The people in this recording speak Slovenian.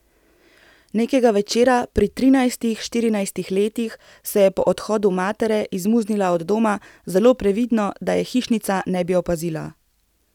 Nekega večera, pri trinajstih, štirinajstih letih, se je po odhodu matere izmuznila od doma, zelo previdno, da je hišnica ne bi opazila.